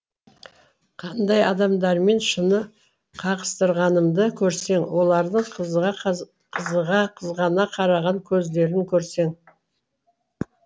қандай адамдармен шыны қағыстырғанымды көрсең олардың қызыға қызғана қараған көздерін көрсең